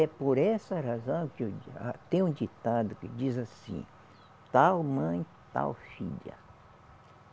É por essa razão que o dia, tem um ditado que diz assim, tal mãe, tal filha.